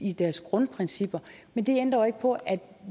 i deres grundprincipper men det ændrer jo ikke på at